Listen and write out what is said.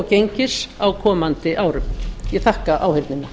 gengis á komandi árum ég þakka áheyrnina